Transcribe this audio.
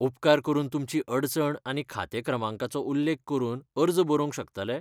उपकार करून तुमची अडचण आनी खातें क्रमांकाचो उल्लेख करून अर्ज बरोवंक शकतले?